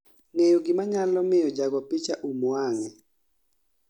ng'eyo gi manyalo miyo jago picha um wang'e